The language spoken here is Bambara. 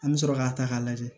An bɛ sɔrɔ k'a ta k'a lajɛ